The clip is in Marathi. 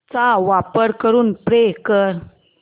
चा वापर करून पे कर